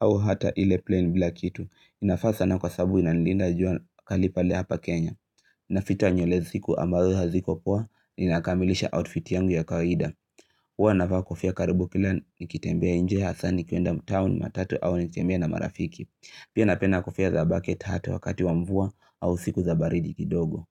au hata ile plain bila kitu. Navaa sana kwa sababu ina nilinda jua kali pale hapa Kenya. Inaficha nywele siku ambazo haziko poa inakamilisha outfit yangu ya kawaida. Huwa navaa kofia karibu kila nikitembea nje hasaa nikienda mtaa, taoni matatu au nikitembea na marafiki. Pia napenda kofia za bucket hat wakati wa mvua au siku za baridi kidogo.